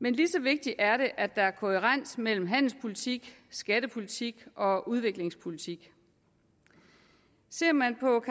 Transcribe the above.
men lige så vigtigt er det at der er kohærens mellem handelspolitik skattepolitik og udviklingspolitik ser man på